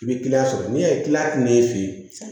I bɛ kiliyan sɔrɔ n'i y'a ye n'e fe ye